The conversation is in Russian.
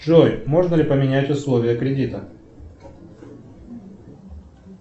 джой можно ли поменять условия кредита